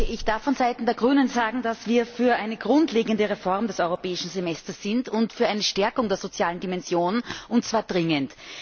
Ich darf vonseiten der Grünen sagen, dass wir für eine grundlegende Reform des Europäischen Semesters sind und für eine Stärkung der sozialen Dimension, und zwar dringend.